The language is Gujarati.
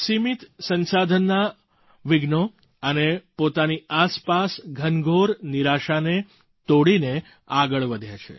સીમિત સંસાધનનાં વિઘ્નો અને પોતાની આસપાસ ઘનઘોર નિરાશાને તોડીને આગળ વધ્યા છે